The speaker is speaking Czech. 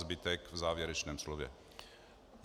Zbytek v závěrečném slově.